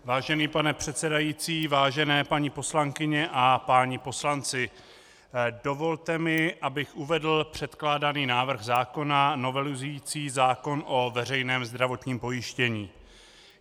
Vážený pane předsedající, vážené paní poslankyně a páni poslanci, dovolte mi, abych uvedl předkládaný návrh zákona novelizující zákon o veřejném zdravotním pojištění.